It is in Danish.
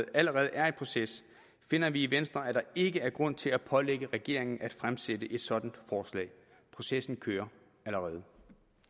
allerede er i proces finder vi i venstre at der ikke er grund til at pålægge regeringen at fremsætte et sådant forslag processen kører allerede